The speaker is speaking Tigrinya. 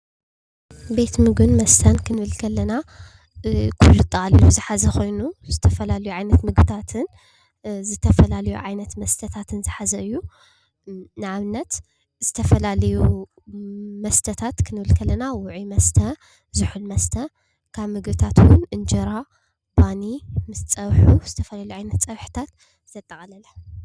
ቤት ምግብን መስተን ክንብል ከለና ኩሉ ኣጠቃሊሉ ዝሓዘ ኮይኑ ዝተፈላለዩ ዓይነታት ምግብታትን ዝተፈላለዩ ዓይነታት መስተታትን ዝሓዘ እዩ። ንኣብነት ዝተፈላለዩ መስተታት ክንብል ከለና ውዑይ መስተ፣ ዝሑል መስተ፣ ካብ ምግብታት ውን እንጀራ፣ ባኒ ምስ ፀብሑ ዝተፈላለዩ ዓይነታት ፀብሕታት ዘጠቃለለ።